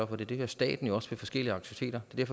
for det det gør staten også ved forskellige aktiviteter det er